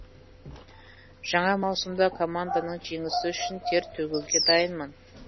жаңа маусымда команданың жеңісі үшін тер төгуге дайынмын